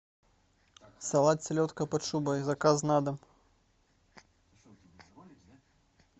салат селедка под шубой заказ на дом